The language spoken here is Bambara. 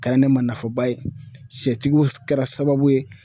A kɛra ne ma nafaba ye sɛtigiw kɛra sababu ye